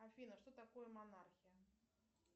афина что такое монархия